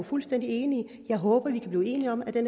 fuldstændig enig jeg håber vi kan blive enige om at det